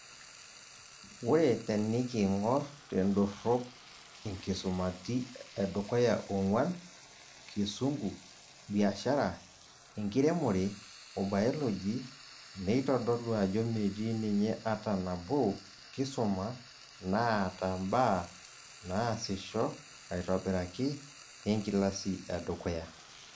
Ore teniking'or tendorrop inkusamiti edukuya ong'uan, kisungu, biashara, enkiremore wobayoloji, neitodolu ajo meeti ninye ata nabo kisuma naata mbaa naasisho aitobiraki enkilasi edukuya.